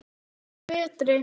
Þessi er með þeim betri.